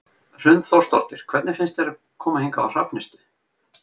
Hrund Þórsdóttir: Hvernig finnst þér að koma hingað á Hrafnistu?